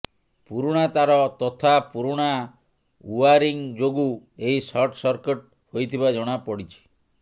ପୁରୁଣା ତାର ତଥା ପୁରୁଣା ଉଆରିଂ ଯୋଗୁଁ ଏହି ସର୍ଟ ସର୍କିଟ ହେଇଥିବା ଜଣା ପଡ଼ିଛି